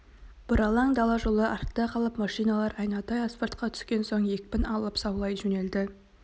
бұралаң дала жолы артта қалып машиналар айнадай асфальтқа түскен соң екпін алып заулай жөнелді